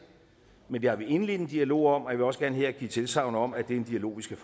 men vi har indledt en dialog om jeg vil også gerne her give tilsagn om at det er en dialog vi skal